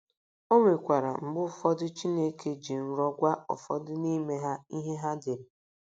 O nwekwara mgbe ụfọdụ Chineke ji nrọ gwa ụfọdụ n’ime ha ihe ha dere.